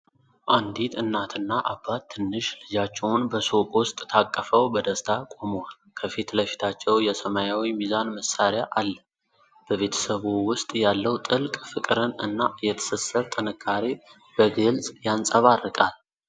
አንዲት እናትና አባት ትንሽ ልጃቸውን በሱቅ ውስጥ ታቅፈው በደስታ ቆመዋል። ከፊት ለፊታቸው የሰማያዊ ሚዛን መሣሪያ አለ። በቤተሰቡ ውስጥ ያለው ጥልቅ ፍቅርን እና የትስስር ጥንካሬ በግልጽ ይንጸባረቃል።